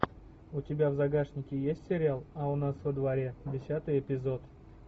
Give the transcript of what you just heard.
у тебя в загашнике есть сериал а у нас во дворе десятый эпизод